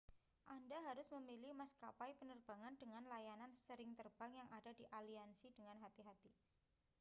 anda harus memilih maskapai penerbangan dengan layanan sering terbang yang ada di aliansi dengan hati-hati